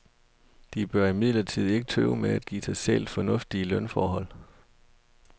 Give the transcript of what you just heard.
De bør imidlertid ikke tøve med at give sig selv fornuftige lønforhold.